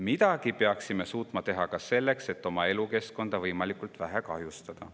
Midagi peaksime suutma teha ka selleks, et oma elukeskkonda võimalikult vähe kahjustada.